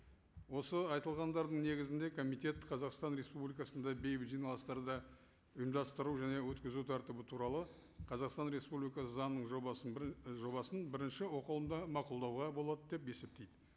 осы айтылғандардың негізінде комитет қазақстан республикасында бейбіт жиналыстарды ұйымдастыру және өткізу тәртібі туралы қазақстан республикасы заңының жобасын бір жобасын бірінші оқылымда мақұлдауға болады деп есептейді